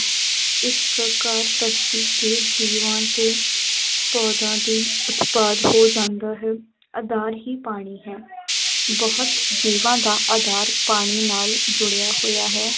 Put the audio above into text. ਇਸ ਪ੍ਰਕਾਰ ਧਰਤੀ ਤੇ ਜੀਵਾਂ ਦੇ ਦੇ ਉਤਪਾਦ ਹੋ ਜਾਂਦਾ ਹੈ, ਆਧਾਰ ਹੀ ਪਾਣੀ ਹੈ ਬਹੁਤ ਜੀਵਾਂ ਦਾ ਆਧਾਰ ਪਾਣੀ ਨਾਲ ਜੁੜਿਆ ਹੋਇਆ ਹੈ,